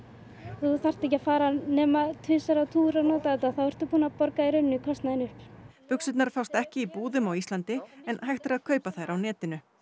þú þarft ekki að fara nema tvisvar á túr og nota þetta og þá ertu búinn að borga kostnaðinn upp buxurnar fást ekki í búðum á Íslandi en hægt er að kaupa þær á netinu